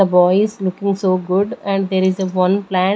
The boy is looking so good and there is a one plant--